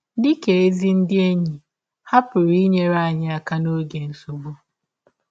Dị ka ezi ndị enyi, ha pụrụ inyere anyị aka n’ọge nsọgbụ.